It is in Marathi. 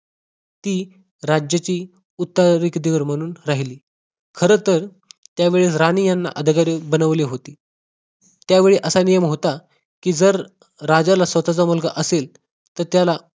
ती राज्याची उत्तरअधिकारी म्हणून राहिली खरंतर त्यावेळी राणी यांना अधिकारी बनवले होते त्यावेळी असा नियम होता जर राजाला स्वतःचा मुलगा असेल तर त्याला